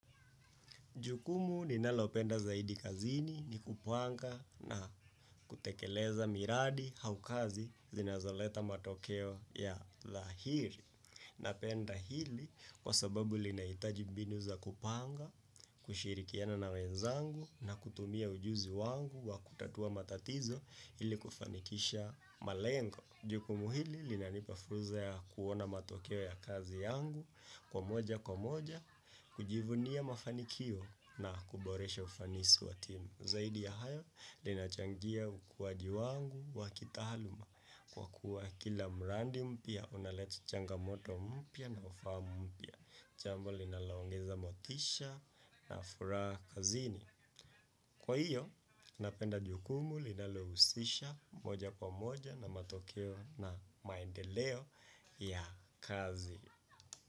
Jukumu ninalo penda zaidi kazini ni kupanga na kutekeleza miradi au kazi zinazo leta matokea ya thahiri. Napenda hili kwa sababu linahitaji mbinu za kupanga, kushirikiana na wenzangu na kutumia ujuzi wangu wa kutatua matatizo ili kufanikisha malengo. Jukumu hili lina nipa furza ya kuona matokeo ya kazi yangu kwa moja kwa moja kwa moja kujivunia mafanikio na kuboresha ufanisi wa timu. Zaidi ya hayo lina changia ukuwaji wangu wa kitahaluma kwa kuwa kila mrandi mpya unaleta changa moto mpya na ufahamu mpya. Jambo linalo ongeza motisha na furaha kazini kwa hiyo napenda jukumu linalo husisha moja kwa moja na maendeleo ya kazi.